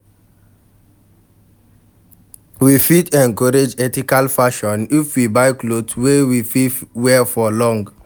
We fit encourage ethical fashion if we buy cloth wey we fit wear for long